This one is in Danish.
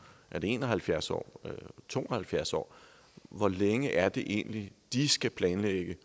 er det en og halvfjerds år er det to og halvfjerds år hvor længe er det egentlig de skal planlægge